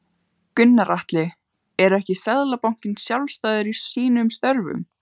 Gunnar Atli: Er ekki Seðlabankinn sjálfstæður í sínum störfum?